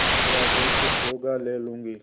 मेरा जो कुछ होगा ले लूँगी